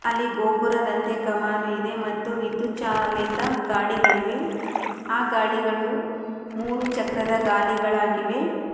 ಅಲ್ಲಿ ಗೋಪುರ ಗಂಟೆ ಕಮಾನು ಇದೆ ಮತ್ತು ವಿದ್ಯುತ್ ಚಾಲಿತ ಗಾಡಿಗಳಿವೆ. ಆ ಗಾಡಿಗಳು ಮೂರು ಚಕ್ರದ ಗಾಲಿಗಳಾಗಿವೆ.